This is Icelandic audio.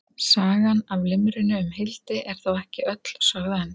Sagan af limrunni um Hildi er þó ekki öll sögð enn.